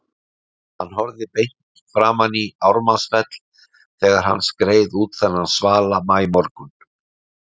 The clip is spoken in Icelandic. Hann horfði beint framan í Ármannsfell þegar hann skreið út þennan svala maímorgun.